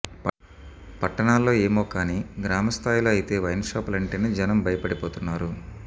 పట్టణాల్లో ఏమో కానీ గ్రామ స్థాయిలో అయితే వైన్ షాపులు అంటేనే జనం భయపడిపోతున్నారు